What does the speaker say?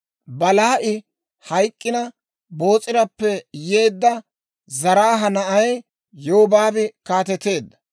Belaa'i hayk'k'ina, Boos'irappe yeedda Zaraaha na'ay Yobaabi kaateteedda.